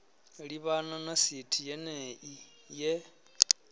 livhana na sithi yenei ye